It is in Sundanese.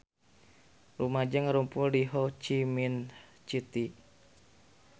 Rumaja ngarumpul di Ho Chi Minh City